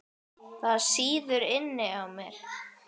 Það sýður inni í mér.